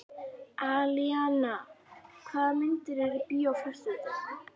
Alíana, hvaða myndir eru í bíó á föstudaginn?